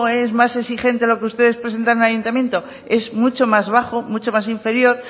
es más exigente lo que ustedes presentan en el ayuntamiento es mucho más bajo mucho más inferior